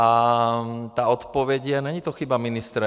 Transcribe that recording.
A ta odpověď je - není to chyba ministra.